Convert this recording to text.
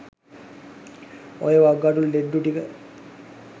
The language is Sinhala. ඔය වකුගඩු ලෙඩ්ඩු ටික